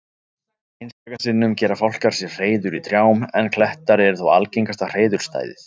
Einstaka sinnum gera fálkar sér hreiður í trjám en klettar eru þó algengasta hreiðurstæðið.